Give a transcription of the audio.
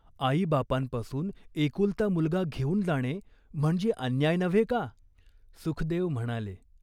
"आईबापांपासून एकुलता मुलगा घेऊन जाणे म्हणजे अन्याय नव्हे का ?" सुखदेव म्हणाले.